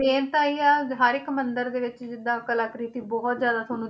Main ਤਾਂ ਇਹ ਆ ਹਰ ਇੱਕ ਮੰਦਿਰ ਦੇ ਵਿੱਚ ਜਿੱਦਾਂ ਕਲਾਕ੍ਰਿਤੀ ਬਹੁਤ ਜ਼ਿਆਦਾ ਤੁਹਾਨੂੰ